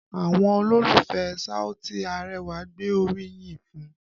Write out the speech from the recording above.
Àwọn olólùfẹ́ Saoti Arẹwà gbé orí yìn fún un